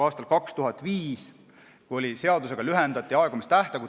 Aastal 2005 lühendati seadusega aegumistähtaegu.